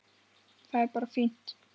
Það er bara fínt!